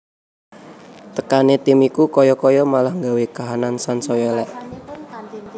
Tekane tim iku kaya kaya malah nggawe kahanan sansaya elek